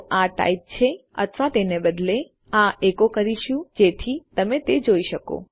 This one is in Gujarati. તો આ ટાઇપ છે અથવા તેના બદલે આપણે આ એકો કરીશું જેથી તમે તે જોઈ શકો